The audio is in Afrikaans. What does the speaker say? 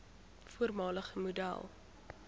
voormalige model